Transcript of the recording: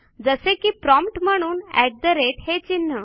जसे की प्रॉम्प्ट म्हणून अट ठे राते हे चिन्ह